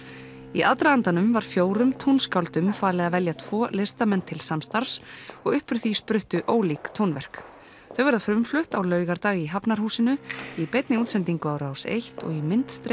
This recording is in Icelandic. í aðdragandanum var fjórum tónskáldum falið að velja tvo listamenn til samstarfs og upp úr því spruttu ólík tónverk þau verða frumflutt á laugardag í Hafnarhúsinu í beinni útsendingu á Rás eins og í